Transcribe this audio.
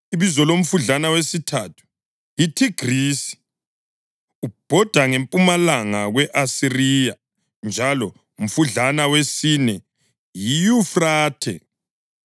Ibizo lomfudlana wesithathu yiThigrisi; ubhoda ngempumalanga kwe-Asiriya. Njalo umfudlana wesine yiYufrathe.